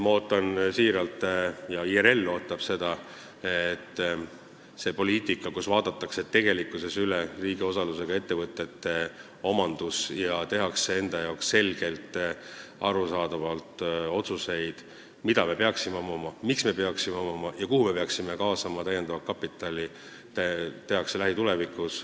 Ma ootan ja kogu IRL ootab, et kõik see – vaadatakse tõesti üle riigi osalusega ettevõtete omandid ja tehakse enda jaoks selgelt, arusaadavalt otsuseid, mida me peaksime omama, miks me peaksime omama ja kuhu me peaksime kaasama täiendavat kapitali – tehakse ära lähitulevikus.